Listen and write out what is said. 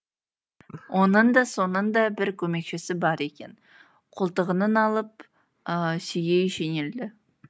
оның да соңында бір көмекшісі бар екен қолтығынан алып сүйей жөнелді